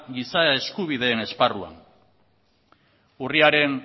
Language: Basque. giza eskubideen esparruan urriaren